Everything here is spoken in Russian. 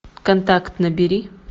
контакт набери